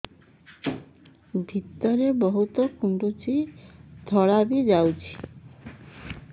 ଭିତରେ ବହୁତ କୁଣ୍ଡୁଚି ଧଳା ବି ଯାଉଛି